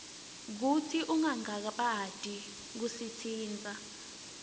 kutsi ungangabati kusitsintsa